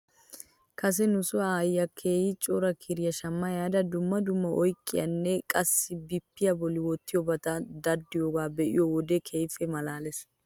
Kase nuso aayyiyaa keehi cora kiriyaa shama ehaada dumma dumma oydiyaaninne qassi bippiyaa bolli wottiyoobata daddiyoogaa be'iyoo wodiyan keehippe malaales.